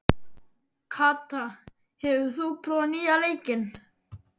Kata, hefur þú prófað nýja leikinn?